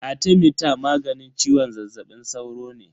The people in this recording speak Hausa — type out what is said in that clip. Arthemeter maganin ciwon zazzabin sauro ne.